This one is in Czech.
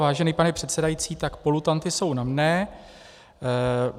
Vážený pane předsedající, tak polutanty jsou na mne.